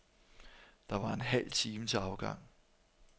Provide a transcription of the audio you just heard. Der var en halv time til afgang.